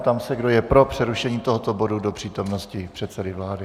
Ptám se, kdo je pro přerušení tohoto bodu do přítomnosti předsedy vlády.